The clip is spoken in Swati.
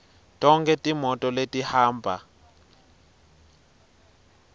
tonkhe timoti letihamba